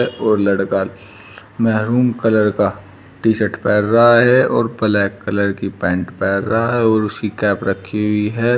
और लड़का maroon colour का टी शर्ट पहेरा हैं और ब्लैक कलर की पैंट पहेरा हैं और उसकी कैप रखी हुई हैं।